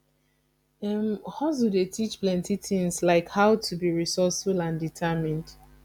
hustle dey teach plenty tings like how to be resourceful and determined